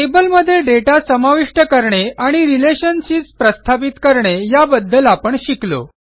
टेबलमध्ये दाता समाविष्ट करणे आणि रिलेशनशिप्स प्रस्थापित करणे या बद्दल आपण शिकलो